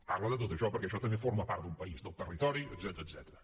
parla de tot això perquè això també forma part d’un país del territori etcètera